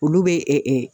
Olu bɛ